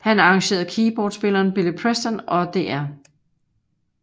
Han arrangerede keyboardspilleren Billy Preston og Dr